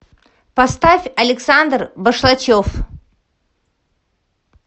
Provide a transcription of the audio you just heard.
поставь александр башлачев